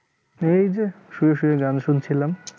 এই যে শুয়ে শুয়ে গান শুনছিলাম